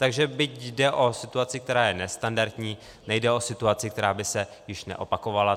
Takže byť jde o situaci, která je nestandardní, nejde o situaci, která by se již neopakovala.